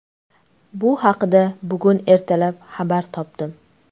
Bu haqda bugun ertalab xabar topdim.